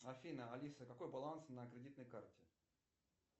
афина алиса какой баланс на кредитной карте